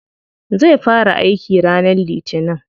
Zai fara aiki ranar litinin.